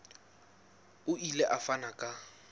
o ile a fana ka